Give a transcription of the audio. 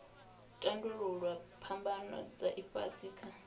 tandululwa phambano dza ifhasi kha